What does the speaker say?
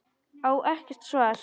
Á ekkert svar.